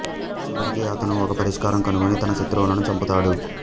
చివరికి అతను ఒక పరిష్కారం కనుగొని తన శత్రువులను చంపుతాడు